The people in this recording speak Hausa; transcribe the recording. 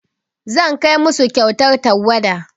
Zan kai musu kyautar tawada.